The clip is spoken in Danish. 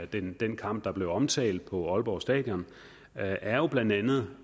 den den kamp der blev omtalt på aalborg stadion er jo blandt andet